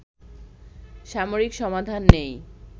সামরিক সমাধান নেই